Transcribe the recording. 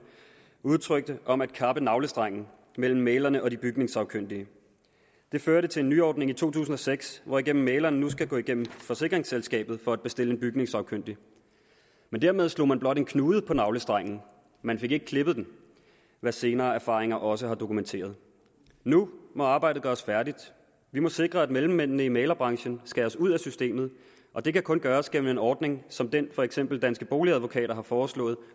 udtrykte om at kappe navlestrengen mellem mæglerne og de bygningssagkyndige det førte til en nyordning i to tusind og seks hvorigennem mæglerne nu skal gå igennem forsikringsselskabet for at bestille en bygningssagkyndig men dermed slog man blot en knude på navlestrengen man fik ikke klippet den hvad senere erfaringer også har dokumenteret nu må arbejdet gøres færdigt vi må sikre at mellemmændene i mæglerbranchen skæres ud af systemet og det kan kun gøres gennem en ordning som den som for eksempel danske boligadvokater har foreslået